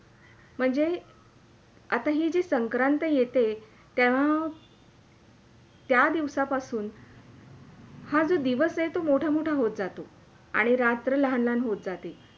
म्हणजे आता ही जी संक्रांती येते त्या त्या दिवसा पासून हा जो दिवास आहे तो मोठा – मोठा होत जातो आणी रात्र लहान - लहान होत जाते.